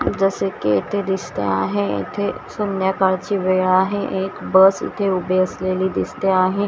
जसं की इथे दिसते आहे इथे संध्याकाळची वेळ आहे एक बस इथे उभी असलेली दिसते आहे.